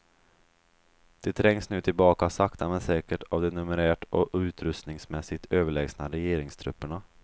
De trängs nu tillbaka sakta men säkert av de numerärt och utrustningsmässigt överlägsna regeringstrupperna.